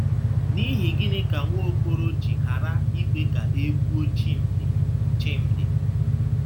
N’ihi gịnị ka Nwaokolo ji ghara ikwe ka e gbuo Chimdi Chimdi